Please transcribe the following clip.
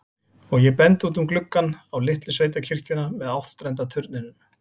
Og ég bendi út um gluggann, á litlu sveitakirkjuna með áttstrenda turninum.